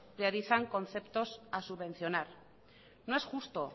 le avisan conceptos a subvencionar no es justo